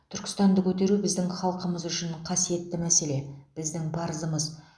түркістанды көтеру біздің халқымыз үшін қасиетті мәселе біздің парызымыз